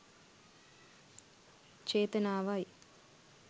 චේතනාවයි.